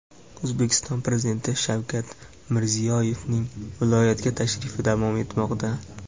O‘zbekiston Prezidenti Shavkat Mirziyoyevning viloyatga tashrifi davom etmoqda.